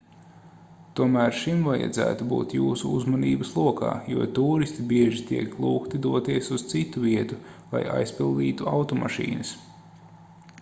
tomēr šim vajadzētu būt jūsu uzmanības lokā jo tūristi bieži tiek lūgti doties uz citu vietu lai aizpildītu automašīnas